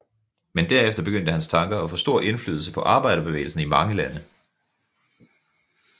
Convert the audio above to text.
Men derefter begyndte hans tanker at få stor indflydelse på arbejderbevægelsen i mange lande